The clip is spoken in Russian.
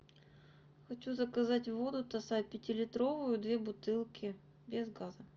хочу заказать воду тассай пятилитровую две бутылки без газа